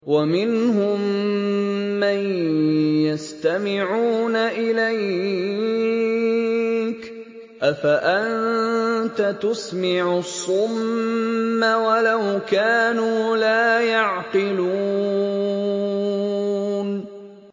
وَمِنْهُم مَّن يَسْتَمِعُونَ إِلَيْكَ ۚ أَفَأَنتَ تُسْمِعُ الصُّمَّ وَلَوْ كَانُوا لَا يَعْقِلُونَ